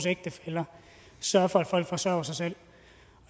ægtefæller sørger for at folk forsørger sig selv